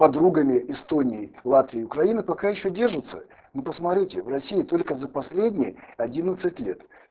подругами эстонии латвии и украины пока ещё держится но посмотрите в россии только за последние одиннадцать лет